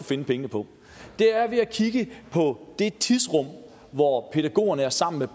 finde pengene på er ved at kigge på det tidsrum hvor pædagogerne er sammen med